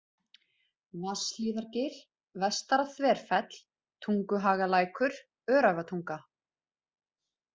Vatnshlíðargil, Vestara-Þverfell, Tunguhagalækur, Öræfatunga